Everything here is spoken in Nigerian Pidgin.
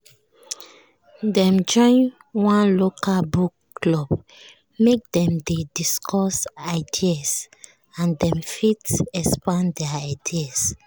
dem join one local book club make dem dey discuss ideas and dem fit expand their ideas